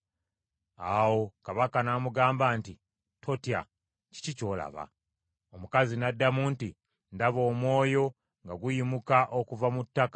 Awo kabaka n’amugamba nti, “Totya. Kiki ky’olaba?” Omukazi n’addamu nti, “Ndaba omwoyo nga guyimuka okuva mu ttaka.”